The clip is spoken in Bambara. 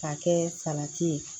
K'a kɛ salati ye